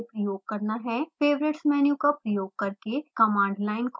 favorites menu का प्रयोग करके command line खोलें